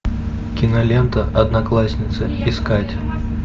кинолента одноклассницы искать